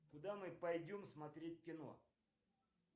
куда мы пойдем смотреть кино